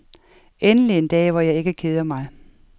Endelig en dag, hvor jeg ikke keder mig.